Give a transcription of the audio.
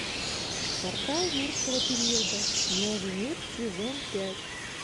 портал юрского периода новый мир сезон пять